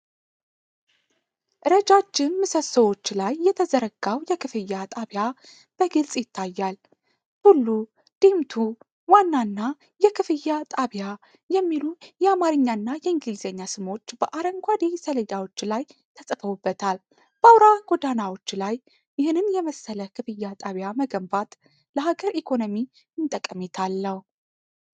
ረጃጅም ምሰሶዎች ላይ የተዘረጋው የክፍያ ጣቢያ በግልጽ ይታያል፤ "ቱሉ"፣ "ዲምቱ"፣ "ዋና" እና "የክፍያ ጣቢያ" የሚሉ የአማርኛና የእንግሊዝኛ ስሞች በአረንጓዴ ሰሌዳዎች ላይ ተጽፈውበታል፤ በአውራ ጎዳናዎች ላይ ይህንን የመሰለ የክፍያ ጣቢያ መገንባት ለሀገር ኢኮኖሚ ምን ጠቀሜታ አለው?